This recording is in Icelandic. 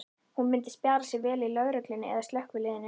Hún myndi spjara sig vel í lögreglunni eða slökkviliðinu.